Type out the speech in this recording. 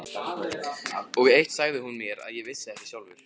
Og eitt sagði hún mér sem ég vissi ekki sjálfur.